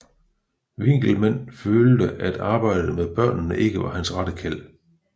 Winckelmann følte at arbejdet med børnene ikke var hans rette kald